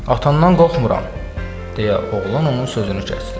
atamdan qorxmuram, deyə oğlan onun sözünü kəsdi.